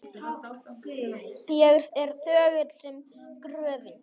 Ég er þögull sem gröfin.